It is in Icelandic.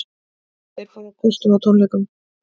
Þeir fóru á kostum á tónleikunum